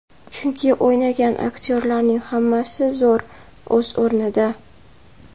Chunki o‘ynagan aktyorlarning hammasi zo‘r, o‘z o‘rnida.